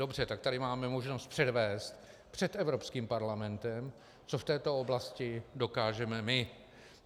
Dobře, tak tady máme možnost předvést před Evropským parlamentem, co v této oblasti dokážeme my.